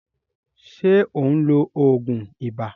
Ṣé ó ń lo òògùn ibà?